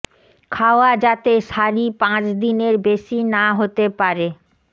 খাওয়া যাতে সারি পাঁচ দিনের বেশি না হতে পারে